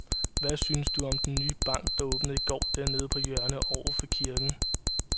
Hvad synes du om den nye bank, der åbnede i går dernede på hjørnet over for kirken?